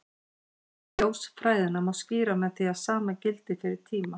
Ljósfræðina má skýra með því að sama gildi fyrir tíma.